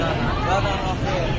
Şərh eləmədilər axı.